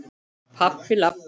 Pabbi- labb.